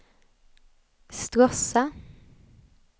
Stråssa